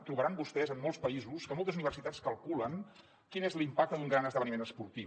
trobaran vostès en molts països que moltes universitats calculen quin és l’impacte d’un gran esdeveniment esportiu